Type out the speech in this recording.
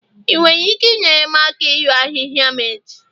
ị nwere ike inyere m aka ịru ahịhịa m echi?